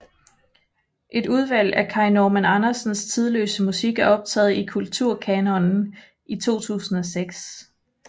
Et udvalg af Kai Normann Andersens tidløse musik er optaget i Kulturkanonen i 2006